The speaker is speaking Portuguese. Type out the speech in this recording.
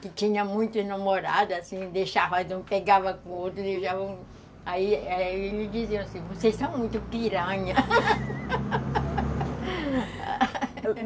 Que tinha muito namorado, assim, deixava, mas não pegava com o outro, deixava... Aí eles diziam assim, vocês são muito piranha